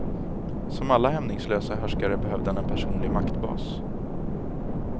Som alla hämningslösa härskare behövde han en personlig maktbas.